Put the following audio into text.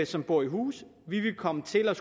som bor i huse vi vil komme til at